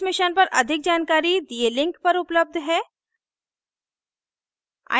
इस मिशन पर अधिक जानकारी दिए लिंक पर उपलब्ध है